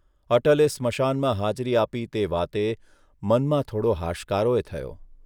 અટલે સ્મશાનમાં હાજરી આપી તે વાતે મનમાં થોડો હાશકારોએ થયો.